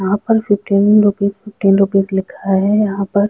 यहाँ पर fifteen rupees fifteen rupees लिखा है यहाँ पर--